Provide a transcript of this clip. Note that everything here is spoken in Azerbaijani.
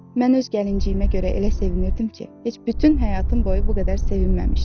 mən öz gəlinciyimə görə elə sevinirdim ki, heç bütün həyatım boyu bu qədər sevinməmişdim.